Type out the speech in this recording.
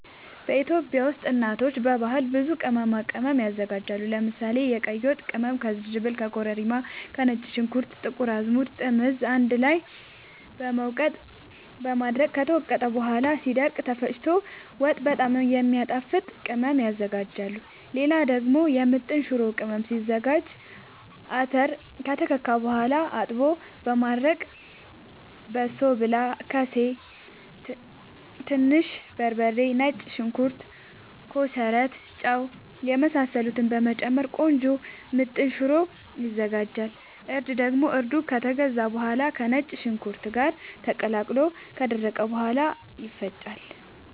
ኢትዮጵያ ውስጥ እናቶች በባህል ብዙ ቅመማ ቅመም ያዘጋጃሉ። ለምሳሌ፦ የቀይ ወጥ ቅመም ከዝንጅብል፣ ከኮረሪማ፣ ከነጭ ሽንኩርት፣ ጥቁር አዝሙድ፣ ጥምዝ አንድ ላይ በመውቀጥ በማድረቅ ከተወቀጠ በኋላ ሲደርቅ ተፈጭቶ ወጥ በጣም የሚያጣፋጥ ቅመም ያዝጋጃሉ። ሌላ ደግሞ የምጥን ሽሮ ቅመም ሲዘጋጅ :- አተር ከተከካ በኋላ አጥቦ በማድረቅ በሶብላ፣ ከሴ፣ ትንሽ በርበሬ፣ ነጭ ሽንኩርት፣ ኮሰረት፣ ጫው የመሳሰሉትን በመጨመር ቆንጆ ምጥን ሽሮ ይዘጋጃል። እርድ ደግሞ እርዱ ከተገዛ በኋላ ከነጭ ሽንኩርት ጋር ተቀላቅሎ ከደረቀ በኋላ ይፈጫል።